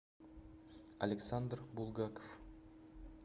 александр булгаков